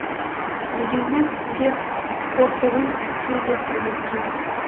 дегенмен сізге қорқудың түкке де қажеті жоқ